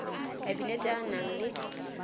kabinete a a nang le